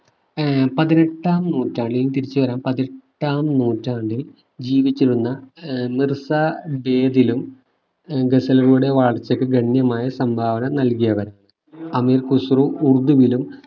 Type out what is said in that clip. ഏർ പതിനെട്ടാം നൂറ്റാണ്ടിൽ തിരിച്ചു വരാം ആഹ് പതിനെട്ടാം നൂറ്റാണ്ടിൽ ജീവിച്ചിരുന്ന മിർസ ഏർ ഗസലുകളുടെ വളർച്ചയ്ക്ക് ഗണ്യമായ സംഭാവന നൽകിയവർ അമീർ ഖുസ്രു ഉറുദുവിലും